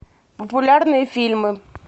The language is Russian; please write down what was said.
популярные фильмы